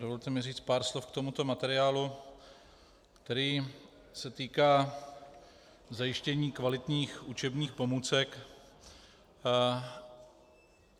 Dovolte mi říct pár slov k tomuto materiálu, který se týká zajištění kvalitních učebních pomůcek.